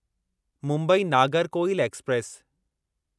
Mumbai Nagercoil express